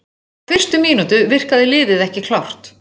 Frá fyrstu mínútu virkaði liðið ekki klárt.